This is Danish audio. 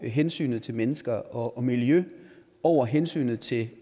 hensynet til mennesker og miljø over hensynet til